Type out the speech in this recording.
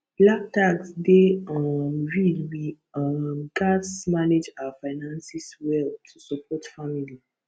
black tax dey um real we um gats manage our finances well to support family